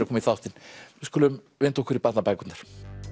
koma í þáttinn við skulum vinda okkur í barnabækurnar